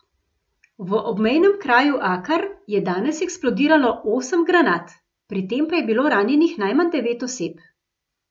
V obmejnem okraju Akar je danes eksplodiralo osem granat, pri tem pa je bilo ranjenih najmanj devet oseb.